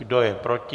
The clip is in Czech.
Kdo je proti?